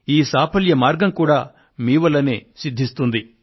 ఈ సాఫల్య మార్గం కూడా మీ వల్లనే సిద్ధిస్తుంది